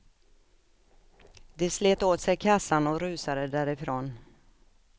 De slet åt sig kassan och rusade därifrån.